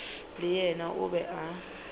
le yena o be a